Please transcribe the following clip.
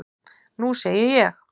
Nú segi ég.